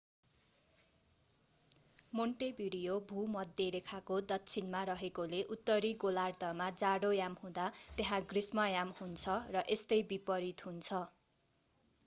Montevideo भूमध्यरेखाको दक्षिणमा रहेकोले उत्तरी गोलार्द्धमा जाडोयाम हुँदा त्यहाँ ग्रीष्मयाम हुन्छ र यस्तै विपरित हुन्छ